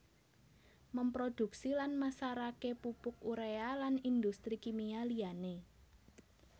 Memproduksi lan masarake pupuk urea lan industri kimia liyane